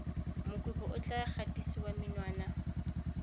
mokopi o tla gatisiwa menwana